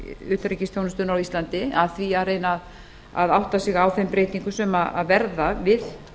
utanríkisþjónustunnar á íslandi að því að reyna að átta sig á þeim breytingum sem verða við